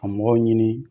Ka mɔgɔw ɲini